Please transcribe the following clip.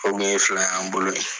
O kun ye fila y'an bolo de.